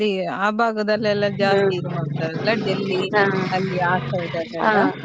ಆ ಭಾಗದಲ್ಲಿಯೆಲ್ಲ ಜಾಸ್ತಿ ಇದು ಮಾಡ್ತಾರೆ Delhi ಅಲ್ಲಿ ಆ side ಅಲ್ಲಿ ಎಲ್ಲ.